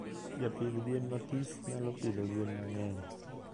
Japidh gwen mathis nyalo pidho gwen mangeny